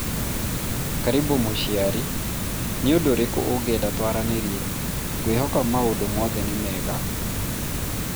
karĩbũ mũciari, nĩũndũ ũrĩkũ ũngĩenda twarĩrĩrie? ngwĩhoka maũndũ mothe nĩ mega